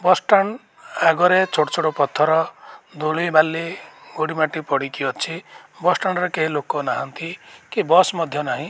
ବସ stand ଆଗରେ ଛୋଟ ଛୋଟ ପଥର ଧୂଳି ବାଲି ଗୋଡ଼ି ମାଟି ପଡ଼ିକି ଅଛି। ବସ ଷ୍ଟାଣ୍ଡ ରେ କେହି ଲୋକ ନାହାନ୍ତି କି ବସ ମଧ୍ୟ ନାହିଁ।